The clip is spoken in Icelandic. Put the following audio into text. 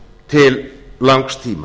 til langs tíma